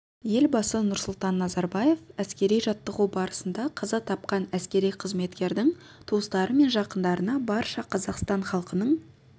елбасы нұрсұлтан назарбаев әскери жаттығу барысында қаза тапқан әскери қызметкердің туыстары мен жақындарына барша қазақстан халқының